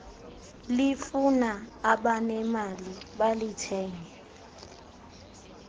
lifuna abanemali balithenge